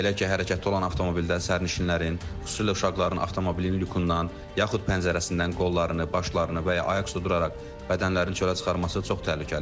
Belə ki, hərəkətdə olan avtomobildən sərnişinlərin, xüsusilə uşaqların avtomobilin lükundan, yaxud pəncərəsindən qollarını, başlarını və ya ayaq uzadaraq bədənlərini çölə çıxarması çox təhlükəlidir.